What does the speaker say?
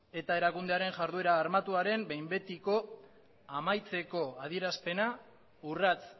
eta erakundearen iharduera armatuaren behin betiko amaitzeko adierazpena urrats